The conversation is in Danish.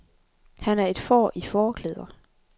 Han er et får i fåreklæder.